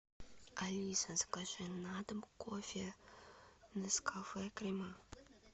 алиса закажи на дом кофе нескафе крема